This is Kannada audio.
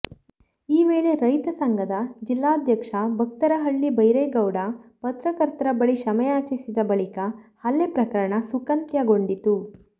ಈ ವೇಳೆ ರೈತ ಸಂಘದ ಜಿಲ್ಲಾಧ್ಯಕ್ಷ ಭಕ್ತರಹಳ್ಳಿ ಭೈರೇಗೌಡ ಪತ್ರಕರ್ತರ ಬಳಿ ಕ್ಷಮೆಯಾಚಿಸಿದ ಬಳಿಕ ಹಲ್ಲೆ ಪ್ರಕರಣ ಸುಖಾಂತ್ಯಗೊಂಡಿತು